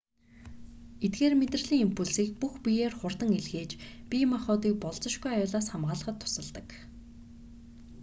эдгээр мэдрэлийн импульсийг бүх биеэр хурдан илгээж бие махбодыг болзошгүй аюулаас хамгаалахад тусалдаг